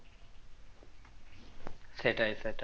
সেটাই সেটাই